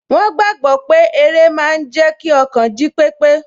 Wọ́n gbàgbọ́ pé eré máa n jẹ́ kí ọkàn jí pépé